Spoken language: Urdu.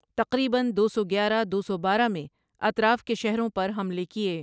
تقریبًا دو سو گیارہ دو سو بارہ میں اطراف کے شہروں پر حملے کئے ۔